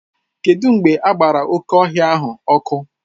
Kedụ mgbe agbara oké ọhịa ahụ ọkụ?